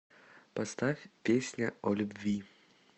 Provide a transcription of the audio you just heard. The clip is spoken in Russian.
поставь песня о любви